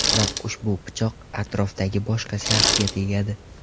Biroq ushbu pichoq atrofdagi boshqa shaxsga tegadi.